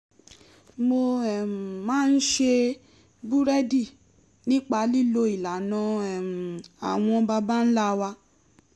mo um máa ń ṣe búrẹ́dì nípa lílo ìlànà um àwọn baba ńlá wa